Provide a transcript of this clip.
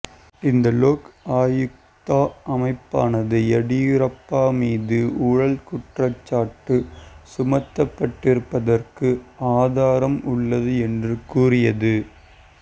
இந்த லோக் ஆயுக்தா அமைப்பானது எடியூரப்பா மீது ஊழல் குற்றச்சாட்டு சுமத்தப்பட்டிருப்பதற்கு ஆதாரம் உள்ளது என்று கூறியது